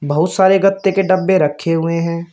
बहुत सारे गत्ते के डब्बे रखे हुए हैं।